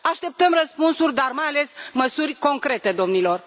Așteptăm răspunsuri, dar, mai ales, măsuri concrete, domnilor!